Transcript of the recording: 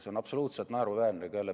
See on absoluutselt naeruväärne.